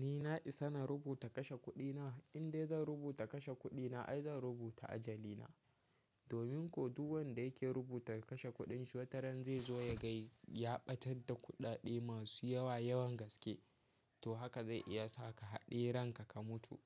Ni na isa na rubuta kashe kuɗina, in dai zan rubuta kashe kuɗina ai zan rubuta ajali na. Domin ko duk wanda yake rubuta kashe kuɗin shi wataran zai zo ya ga ya ɓatar da kuɗaɗe masu yawa yawan gaske. To haka zai iya sa ka haɗe ranka ka mutu.